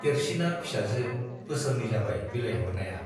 देरसिना फिसाजो - बोसोरनै जाबाय बिलाइहरनाया।